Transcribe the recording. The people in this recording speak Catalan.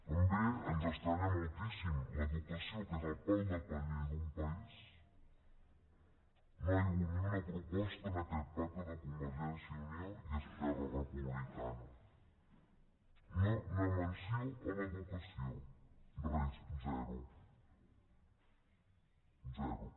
també ens estranya moltíssim sobre l’educació que és el pal de paller d’un país no hi ha hagut ni una proposta en aquest pacte de convergència i unió i esquerra republicana ni una menció a l’educació res zero zero